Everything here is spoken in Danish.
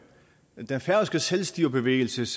den færøske selvstyrebevægelses